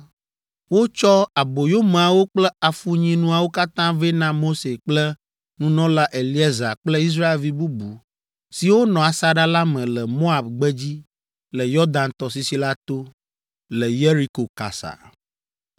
Wotsɔ aboyomeawo kple afunyinuawo katã vɛ na Mose kple nunɔla Eleazar kple Israelvi bubu siwo nɔ asaɖa la me le Moab gbedzi le Yɔdan tɔsisi la to, le Yeriko kasa.